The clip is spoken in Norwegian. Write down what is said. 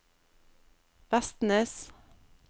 Vestnes